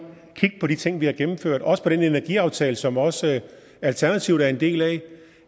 kig på de ting vi har gennemført også på den energiaftale som også alternativet er en del af